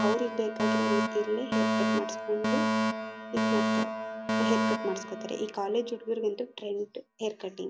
ಅವ್ರಿಗೆ ಬೇಕಾಗಿರೋ ರೀತೀಲಿ ಹೇರ್ ಕಟ್ ಮಾಡಿಸ್ಕೊಂಡು ಇದ್ ಮಾಡ್ತಾರೆ. ಹೇರ್ ಕಟ್ ಮಾಡಿಸ್ಕೊತಾರೆ ಈ ಕಾಲೇಜ್ ಹುಡುಗರಿಗಂತೂ ಟ್ರೆಂಡ್ ಹೇರ್ ಕಟಿಂಗ್ .